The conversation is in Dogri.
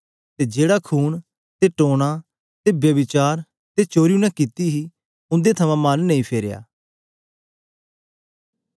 ते जेहड़ा खून ते टोना ते ब्यभिचार ते चोरी उनै कित्ती हे उंदे थमां मन नेई फराया